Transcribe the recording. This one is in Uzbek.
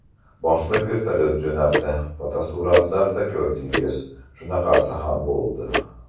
Boshliq vertolyot jo‘natdi, fotosuratlarda ko‘rdingiz shunaqasi ham bo‘ldi.